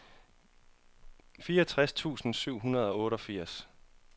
fireogtres tusind syv hundrede og otteogfirs